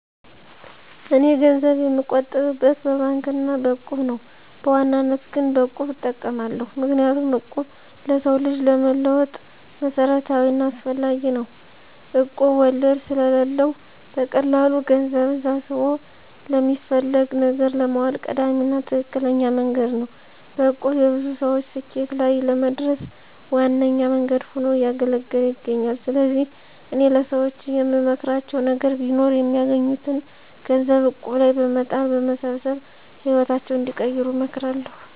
እኔ ገንዘብ የምቆጥብበት በባንክ አና በእቁብ ነው። በዋናነት ግን በቁብ እጠቀማለሁ። ምክንያቱም እቁብ ለሰው ልጅ ለመለወጥ መሰረታዊና አስፈላጊ ነው። እቁብ ወለድ ስለለው በቀላሉ ገንዘብን ሰብስቦ ለሚፈለግ ነገር ለማዋል ቀዳሚና ትክክለኛ መንገድ ነው። በእቁብ የብዙ ሰወች ስኬት ላይ ለመድረስ ዋነኛ መንገድ ሁኖ እያገለገለ ይገኛል። ስለዚህ እኔ ለሰወች የምመክራቸው ነገር ቢኖር የሚያገኙትን ገንዘብ እቁብ ላይ በመጣል በመሰብሰብ ህይወታቸውን እንዲቀይሩ እመክራለሁ።